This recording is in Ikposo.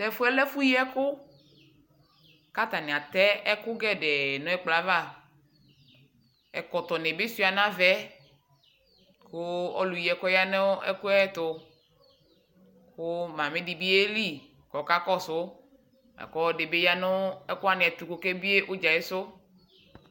tʋ ɛƒʋɛ lɛ ɛƒʋ yii ɛkʋ kʋ atani atɛ ɛkʋ gɛdɛɛ nʋ ɛkplɔɛ aɣa, ɛkɔtɔ nibi. sʋa nʋ.aɣaɛ kʋ ɔlʋ yii ɛkʋɛ yanʋ ɛkʋɛ ɛtʋ kʋ mami dibi yɛli kʋ ɔkakɔsʋ, lakʋ ɔdiibi yanʋ ɛkʋ wani ɛtʋ kʋ ɔkɛ biɛ ʋdzaɛ sʋ.